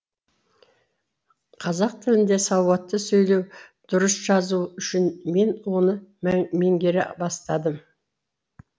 қазақ тілінде сауатты сөйлеу дұрыс жазу үшін мен оны меңгере бастадым